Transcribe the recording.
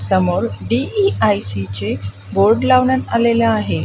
समोर डी_इ_आय_सी चे बोर्ड लावण्यात आलेले आहे.